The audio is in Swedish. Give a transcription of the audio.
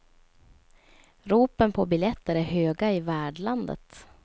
Ropen på biljetter är höga i värdlandet.